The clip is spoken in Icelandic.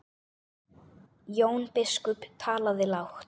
Jón biskup talaði lágt.